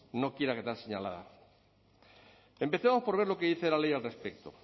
no quiera quedar señalada empecemos por ver lo que dice la ley al respecto